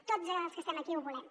tots els que estem aquí ho volem